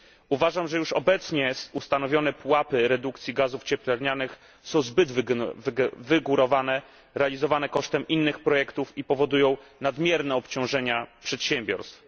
Uważam, że już obecnie ustanowione pułapy redukcji gazów cieplarnianych są zbyt wygórowane, realizowane kosztem innych projektów i powodują nadmierne obciążenia przedsiębiorstw.